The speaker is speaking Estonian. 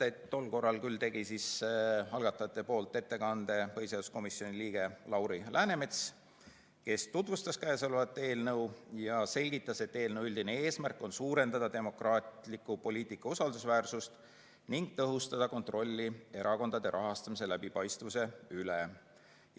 Tol korral küll tegi algatajate ettekande põhiseaduskomisjoni liige Lauri Läänemets, kes tutvustas eelnõu ja selgitas, et eelnõu üldine eesmärk on suurendada demokraatliku poliitika usaldusväärsust ning tõhustada kontrolli erakondade rahastamise läbipaistvuse üle.